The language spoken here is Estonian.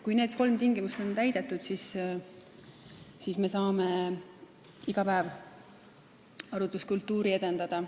Kui need kolm tingimust on täidetud, siis me saame iga päev arutluskultuuri edendada.